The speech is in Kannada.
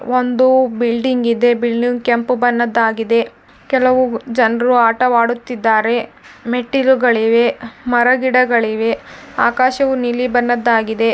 ಒಂದು ಬಿಲ್ಡಿಂಗ್ ಇದೆ ಬಿಲ್ಡಿಂಗ್ ಕೆಂಪು ಬಣ್ಣದ್ದಾಗಿದೆ ಕೆಲವು ಜನರು ಆಟವಾಡುತ್ತಿದ್ದಾರೆ ಮೆಟ್ಟಿಲುಗಳಿವೆ ಮರ ಗಿಡಗಳಿವೆ ಆಕಾಶವು ನೀಲಿ ಬಣ್ಣದ್ದಾಗಿದೆ.